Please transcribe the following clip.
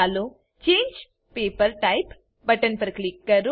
ચાલો change paper type button પર click કરો